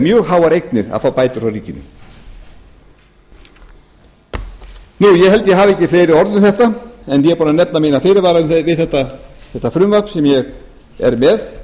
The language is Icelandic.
ríkinu ég held að ég hafi ekki fleiri orð um þetta ég er búinn að nefna fyrirvara mína við þetta frumvarp sem ég er með